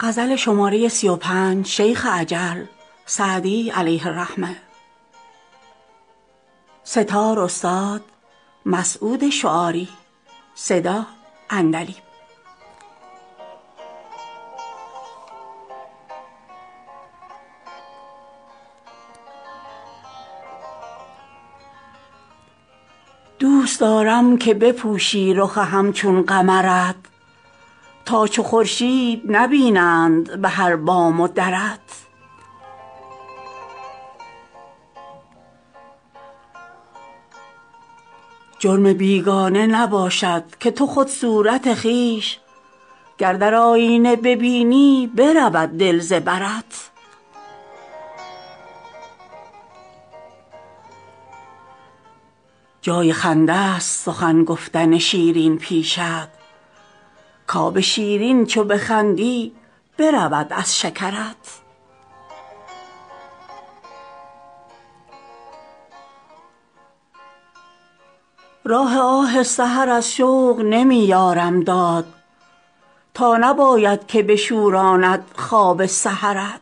دوست دارم که بپوشی رخ همچون قمرت تا چو خورشید نبینند به هر بام و درت جرم بیگانه نباشد که تو خود صورت خویش گر در آیینه ببینی برود دل ز برت جای خنده ست سخن گفتن شیرین پیشت کآب شیرین چو بخندی برود از شکرت راه آه سحر از شوق نمی یارم داد تا نباید که بشوراند خواب سحرت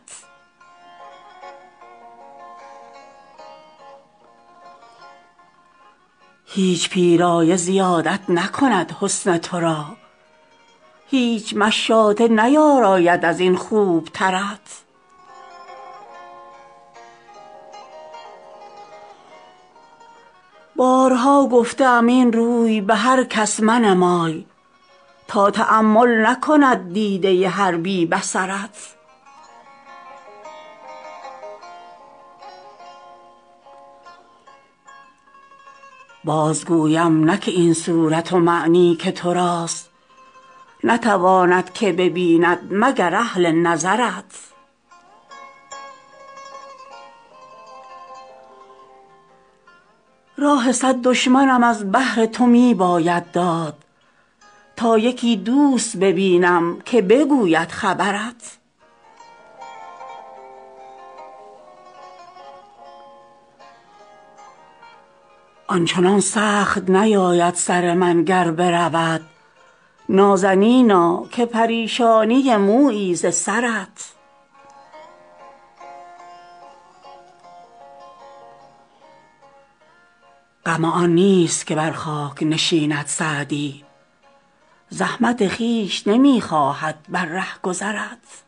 هیچ پیرایه زیادت نکند حسن تو را هیچ مشاطه نیاراید از این خوبترت بارها گفته ام این روی به هر کس منمای تا تأمل نکند دیده هر بی بصرت باز گویم نه که این صورت و معنی که تو راست نتواند که ببیند مگر اهل نظرت راه صد دشمنم از بهر تو می باید داد تا یکی دوست ببینم که بگوید خبرت آن چنان سخت نیاید سر من گر برود نازنینا که پریشانی مویی ز سرت غم آن نیست که بر خاک نشیند سعدی زحمت خویش نمی خواهد بر رهگذرت